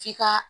F'i ka